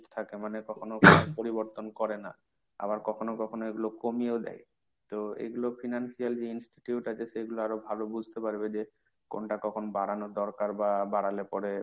থাকে মানে কখনো কখনো পরিবর্তন করে না। আবার কখনো কখনো এগুলো কমিয়েও দেয়। তো এগুলো financial যে institute আছে সেগুলো আরো ভালো বুঝতে পারবে। যে কোনটা কখন বাড়ানোর দরকার বা বাড়ালে পরে,